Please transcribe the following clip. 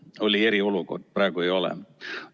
Oli eriolukord, praegu ei ole.